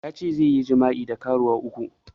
Yace zai yi jima'i da karuwa uku